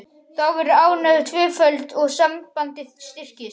Þá verður ánægjan tvöföld og sambandið styrkist.